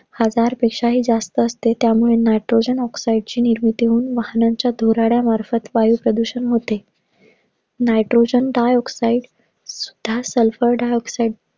हजार पेक्षा हि जास्त असते. त्यामुळे nitrogen oxide ची निर्मिती होऊन वाहनांच्या धुराड्या मार्फत वायू प्रदूषण होते. Nitrogen dioxide व sulphur dioxide